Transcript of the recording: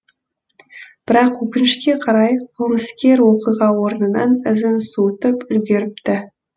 бірақ өкінішке қарай қылмыскер оқиға орнынан ізін суытып үлгеріпті